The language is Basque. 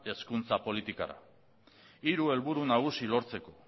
hezkuntza politikara hiru helburu nagusi lortzeko